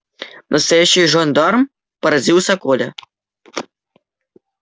настоящий жандарм поразился коля